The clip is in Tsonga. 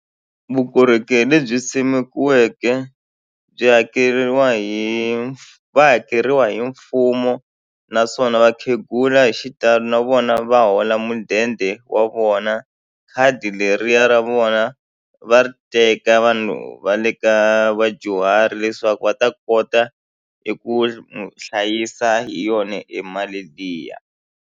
Vukorhokeri lebyi simekiweke byi hakeriwa hi va hakeriwa hi mfumo naswona vakhegula hi xitalo na vona va hola mudende wa vona vona khadi leriya ra vona va ri teka vanhu va le ka vadyuhari leswaku va ta kota eku hlayisa hi yona emali liya.